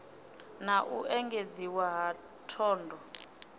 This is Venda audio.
na u engedziwa ha thondo